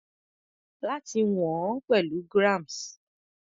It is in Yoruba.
Láti wọ̀n ọ́n pẹ̀lú grams.